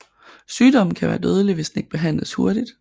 Sygdommen kan være dødelig hvis den ikke behandles hurtigt